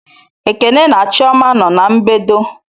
Ekene na chioma no na-mbedo